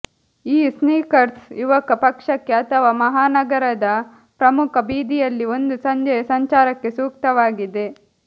ಈ ಸ್ನೀಕರ್ಸ್ ಯುವಕ ಪಕ್ಷಕ್ಕೆ ಅಥವಾ ಮಹಾನಗರದ ಪ್ರಮುಖ ಬೀದಿಯಲ್ಲಿ ಒಂದು ಸಂಜೆಯ ಸಂಚಾರಕ್ಕೆ ಸೂಕ್ತವಾಗಿದೆ